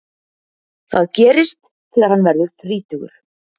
Það gerist þegar hann verður þrítugur.